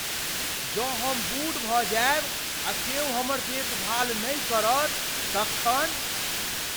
जँ हम बूढ़ भऽ जायब आ क्यौ हमर देखभाल नहि करत तखन?